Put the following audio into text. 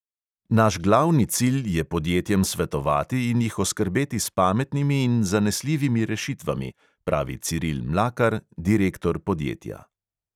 Naš glavni cilj je podjetjem svetovati in jih oskrbeti s pametnimi in zanesljivimi rešitvami," pravi ciril mlakar, direktor podjetja.